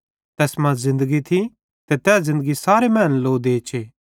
तैस वचने मां ज़िन्दगी थी ते तै ज़िन्दगी सारे मैनन् लो देचे